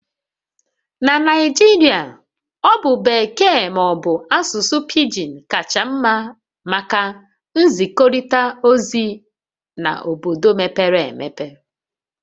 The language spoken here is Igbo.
Na Naijiria Ọ bụ Bekee ma ọ bụ asụsụ pigin kacha mma maka nzikọrịta ozi na obodo mepere emepe